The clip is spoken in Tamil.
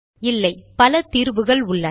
இல்லை பல தீர்வுகள் உள்ளன